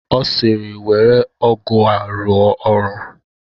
Ọ sịịrị, were ọgụ a rụọ ọrụ!